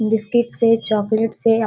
biscuit से chocolate से up --